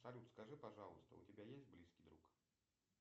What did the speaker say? салют скажи пожалуйста у тебя есть близкий друг